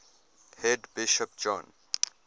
head bishop john